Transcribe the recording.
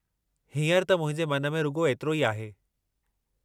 हींअर त मुंहिंजे मन में रुॻो एतिरो ई आहे।